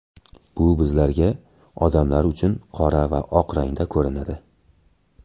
Bu bizlarga, odamlar uchun qora va oq rangda ko‘rinadi.